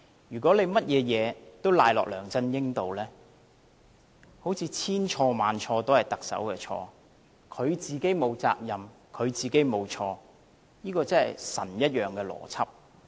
如果他把甚麼事都推到梁振英身上，好像千錯萬錯，都是特首的錯，他自己沒有責任，他自己沒有錯，這個真是神一樣的邏輯。